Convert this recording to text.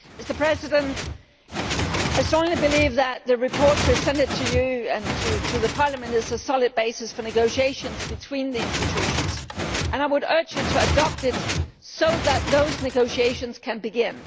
Mr President, I strongly believe that the report presented to you and to Parliament is a solid basis for negotiations between the institutions and I would urge you to adopt it so that those negotiations can begin.